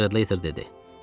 Stradlater dedi.